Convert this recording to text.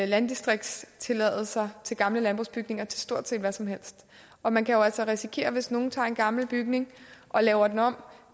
landdistriktstilladelser til gamle landbrugsbygninger til stort set hvad som helst og man kan jo altså risikere at hvis nogle tager en gammel bygning og laver den om